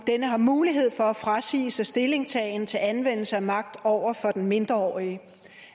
denne har mulighed for at frasige sig stillingtagen til anvendelse af magt over for den mindreårige